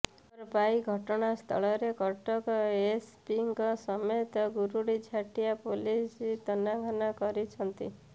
ଖବର ପାଇ ଘଟଣାସ୍ଥଳରେ କଟକ ଏସପିଙ୍କ ସମେତ ଗୁରୁଡିଝାଟିଆ ପୋଲିସ ତନାଘନା କରିଛନ୍ତି